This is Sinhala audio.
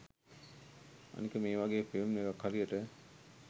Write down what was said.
අනික මේ වගේ ‍ෆිල්ම් එකක් හරියට